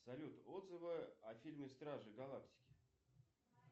салют отзывы о фильме стражи галактики